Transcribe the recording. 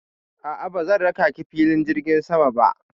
A'a, bazan raka ki filin jirgin sama ba.